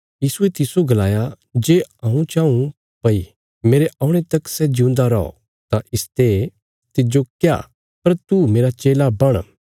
यीशुये तिस्सो गलाया जे हऊँ चाऊँ भई मेरे औणे तक सै जिऊंदा रौ तां इसते तिज्जो क्या पर तू मेरा चेला बण